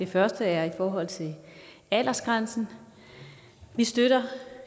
første er i forhold til aldersgrænsen vi støtter